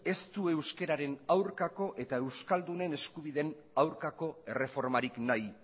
ez du euskeraren aurkako eta euskaldunen eskubideen aurkako erreformarik nahi